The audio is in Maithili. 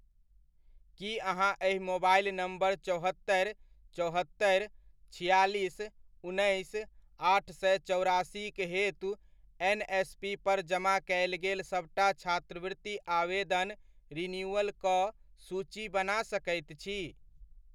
की अहाँ एहि मोबाइल नम्बर चौहत्तरि, चौहत्तरि, छियालीस, उन्नैस, आठ सए चौरासीक हेतु एनएसपी पर जमा कयल गेल सबटा छात्रवृति आवेदन रिन्यूअल'क सूची बना सकैत छी।